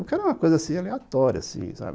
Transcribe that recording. Porque era uma coisa assim, aleatória, assim, sabe?